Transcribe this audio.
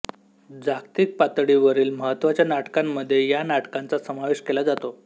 जागतिक पातळीवरील महत्त्वाच्या नाटकांमध्ये या नाटकांचा समावेश केला जातो